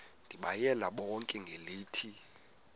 ndibayale bonke ngelithi